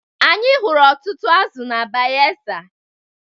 Anyị hụrụ ọtụtụ azụ na Bayelsa